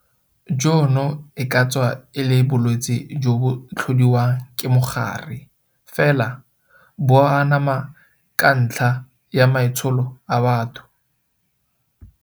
Jono e ka tswa e le bolwetse jo bo tlhodiwang ke mogare, fela bo anama ka ntlha ya maitsholo a batho.